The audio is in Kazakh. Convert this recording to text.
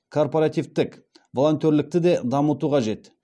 корпоративтік волонтерлікті де дамыту қажет